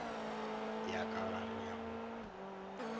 ya ka gare ya go